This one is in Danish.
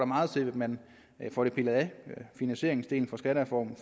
meget til at man får det pillet af finansieringsdelen for skattereformen